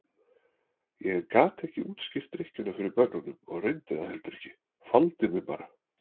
Ég gat ekki útskýrt drykkjuna fyrir börnunum og reyndi það heldur ekki, faldi mig bara.